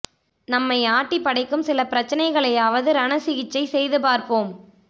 நம்மை ஆட்டிப் படைக்கும் சில பிரச்சனைகளையாவது ரண சிகிச்சை செய்து பார்ப்போம்